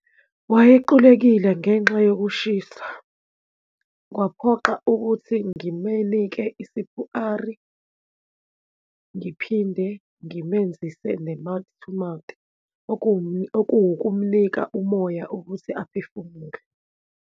Wayequlekile ngenxa yokushisa, kwaphoxa ukuthi ngimenike i-C_P_R, ngiphinde ngimenzise ne-mouth to mouth okuwukumnika umoya ukuthi aphefumule.